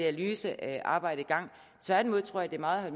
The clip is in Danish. analysearbejde i gang tværtimod tror jeg det meget